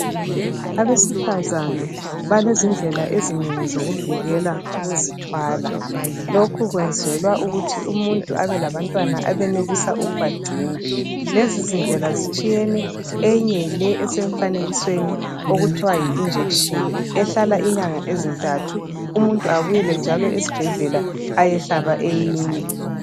Abesifazana balezindlela ezinengi zokuzivikela ukuzithwala.. Lokhu kwenzelwa ukuthi umuntu abelabantwana abenelisa ukubagcina. .Lezizindlela zitshiyene. Eyinye yileyi esemfanekisweni okuthiwa yi injection. Ehlala inyanga ezintathu. Umuntu abuyele njalo esibhedlela ayehlaba eyinye.